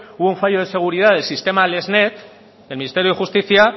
hubo un fallo de seguridad de sistema lexnet del ministerio de justicia